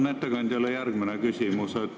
Mul on ettekandjale järgmine küsimus.